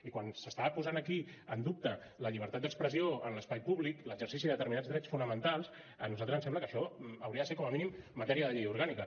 i quan s’està posant aquí en dubte la llibertat d’expressió en l’espai públic l’exercici de determinats drets fonamentals a nosaltres ens sembla que això hauria de ser com a mínim matèria de llei orgànica